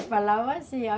falavam assim.